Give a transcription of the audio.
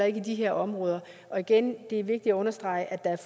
i de her områder og igen er det vigtigt at understrege at